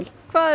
hvað eruð